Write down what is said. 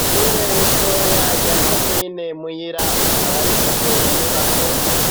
Ishure ritoya ryako mine mwira rikaba rifise inyubako